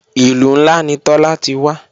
Ìlú ńlá ni Tọ́lá ti wá